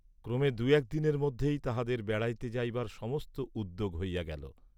ক্রমে দু'এক দিনের মধ্যেই তাঁহাদের বেড়াইতে যাইবার সমস্ত উদ্যোগ হইয়া গেল।